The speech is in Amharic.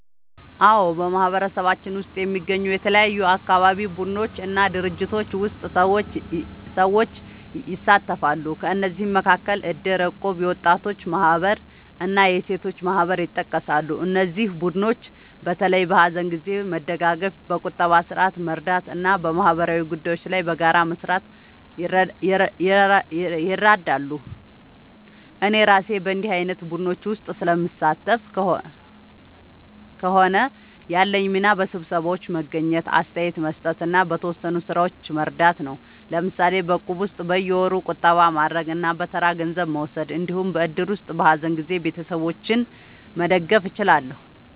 አዎ፣ በማህበረሰባችን ውስጥ የሚገኙ የተለያዩ አካባቢ ቡድኖች እና ድርጅቶች ውስጥ ሰዎች ይሳተፋሉ። ከእነዚህ መካከል እድር፣ እቁብ፣ የወጣቶች ማህበር እና የሴቶች ማህበር ይጠቀሳሉ። እነዚህ ቡድኖች በተለይ በሀዘን ጊዜ መደጋገፍ፣ በቁጠባ ስርዓት መርዳት እና በማህበራዊ ጉዳዮች ላይ በጋራ መስራት ይረዳሉ። እኔ እራሴ በእንዲህ ዓይነት ቡድኖች ውስጥ ስለምሳተፍ ከሆነ፣ ያለኝ ሚና በስብሰባዎች መገኘት፣ አስተያየት መስጠት እና በተወሰኑ ሥራዎች መርዳት ነው። ለምሳሌ በእቁብ ውስጥ በየወሩ ቁጠባ ማድረግ እና በተራ ገንዘብ መውሰድ እንዲሁም በእድር ውስጥ በሀዘን ጊዜ ቤተሰቦችን መደገፍ እችላለሁ።